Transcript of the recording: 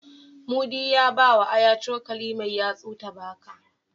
Mudi ya bawa Aya cokali mai yatsu ta baka.